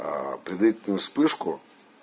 предварительно вспышку